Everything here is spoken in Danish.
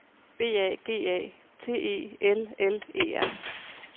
B A G A T E L L E R